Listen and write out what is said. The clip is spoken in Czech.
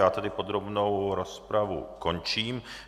Já tedy podrobnou rozpravu končím.